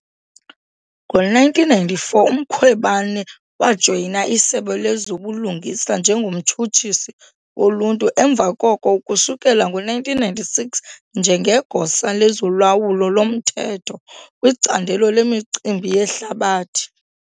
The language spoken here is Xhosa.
Ngo-1994 uMkhwebane wajoyina iSebe lezoBulungisa njengoMtshutshisi woLuntu emva koko ukusukela ngo-1996 njengeGosa lezoLawulo loMthetho kwiCandelo leMicimbi yeHlabathi.